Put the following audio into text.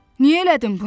Niyə elədin bunu?